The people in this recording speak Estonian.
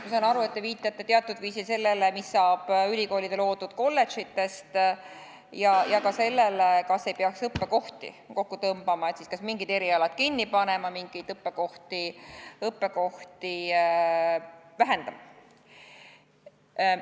Ma saan aru, et te viitate teatud viisil sellele, mis saab ülikoolide loodud kolledžitest, ja ka sellele, kas ei peaks õppekohti kokku tõmbama, siis kas mingid erialad kinni panema, mingeid õppekohti vähendama.